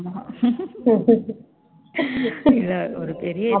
ஆமா ஒரு பெரிய இது